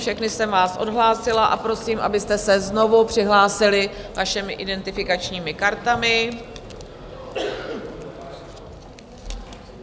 Všechny jsem vás odhlásila a prosím, abyste se znovu přihlásili svými identifikačními kartami.